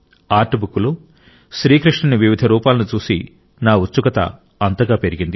artbook లో శ్రీ కృష్ణుని వివిధ రూపాలను చూసి నా ఉత్సుకత అంతగా పెరిగింది